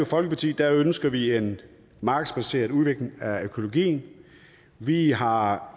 folkeparti ønsker vi en markedsbaseret udvikling af økologien vi har